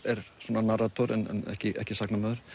narrator en ekki ekki sagnamaður